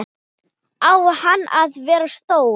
Á hann að vera stór?